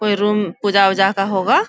कोई रूम पूजा वूजा का होगा ।